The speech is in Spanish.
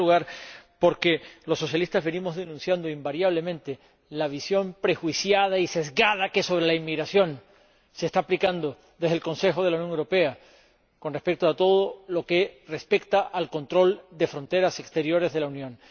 En primer lugar, porque los socialistas venimos denunciando invariablemente la visión prejuiciada y sesgada que sobre la inmigración se está aplicando desde el Consejo de la Unión Europea con respecto a todo lo que se refiere al control de fronteras exteriores de la Unión.